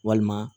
Walima